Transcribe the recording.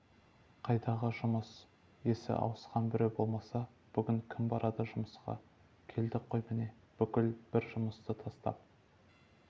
қайдағы жұмыс есі ауысқан біреу болмаса бүгін кім барады жұмысқа келдік қой міне бүкіл бір жұмысты тастап